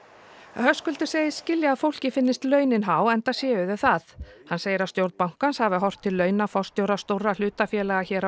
Höskuldur segist skilja að fólki finnist launin há enda séu þau það hann segir að stjórn bankans hafi horft til launa forstjóra stórra hlutafélaga hér